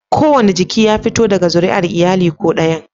Kowane jiki ya fito daga zuriyar iyali ko ɗayan